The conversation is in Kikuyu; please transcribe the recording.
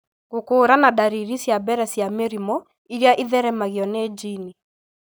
gũkũũrana dariri cia mbere cia mĩrimũ ĩrĩa ĩtheremagio nĩ jini.